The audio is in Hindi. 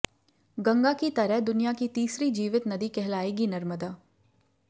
गंगा की तरह दुनिया की तीसरी जीवित नदी कहलाएगी नर्मदा